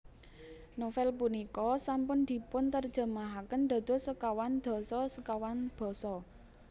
Novel punika sampun dipunterjemahaken dados sekawan dasa sekawan basa